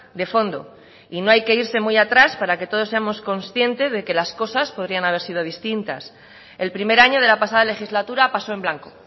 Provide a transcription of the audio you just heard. de fondo y no hay que irse muy atrás para que todos seamos conscientes de que las cosas podrían haber sido distintas el primer año de la pasada legislatura pasó en blanco